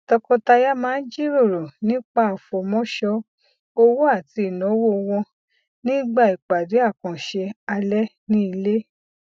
tọkọtaya máa ń jiròrò nípa àfọmọṣọ owó àti ináwó wọn nígbà ìpàdé àkànṣe alẹ ní ilé